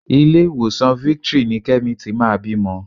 Ilé-ìwòsàn Victory ni Kẹ́mi ti máa bímọ.